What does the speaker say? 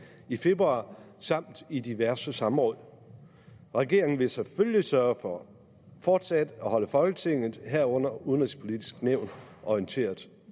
i februar samt i diverse samråd regeringen vil selvfølgelig sørge for fortsat at holde folketinget herunder det udenrigspolitiske nævn orienteret